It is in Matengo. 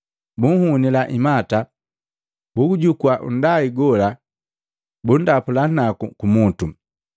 Bunhunila imata, buujukua nndai gola, bundapula nagu kumutu.